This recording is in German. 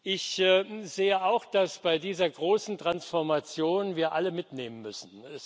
Ich sehe auch, dass wir bei dieser großen Transformation alle mitnehmen müssen.